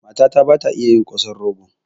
Matata ba ta iya yi kosan rogo